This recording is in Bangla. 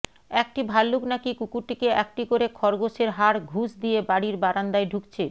একটি ভাল্লুক নাকি কুকুরটিকে একটি করে খরগোসের হাড় ঘুস দিয়ে বাড়ির বারান্দায় ঢুকছে